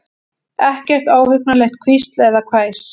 Ekkert óhugnanlegt hvísl eða hvæs.